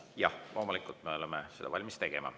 Jah, loomulikult me oleme seda valmis tegema.